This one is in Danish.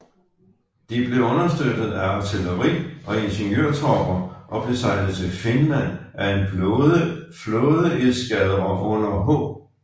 De blev støttet af artilleri og ingeniørtropper og blev sejlet til Finland af en flådeeskadre under H